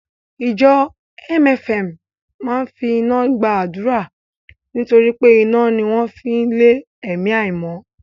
Ìjọ MFM máa ń fi iná gba àdúrà nítorí pé iná ni wọ́n fi ń lé ẹ̀mí àìmọ́